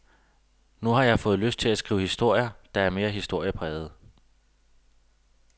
Nu har jeg fået lyst til at skrive historier, der er mere historie prægede.